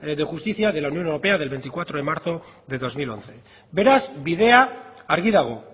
de justicia de la unión europea de veinticuatro de marzo del dos mil once beraz bidea argi dago